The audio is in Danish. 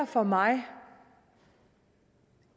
for mig og